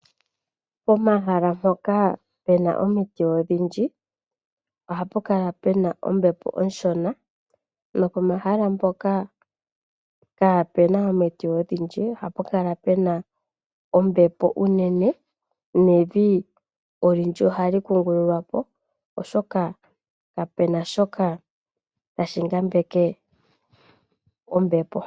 Pomahala mpoka pena omiti odhindji ohapu kala pena ombepo oshona. No pomahala mpoka kaapena omiti odhindji ohapu kala pena ombepo onene, nevi olindji ohali kungululwa po oshoka ka pena shoka tashi ngambeke ombepo.